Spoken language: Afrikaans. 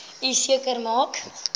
u seker maak